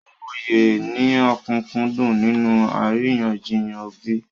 Mú òye ní òkúnkúndùn nínú àríyànjiyàn ẹbí.